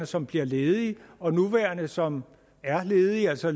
som bliver ledige og nuværende som er ledige altså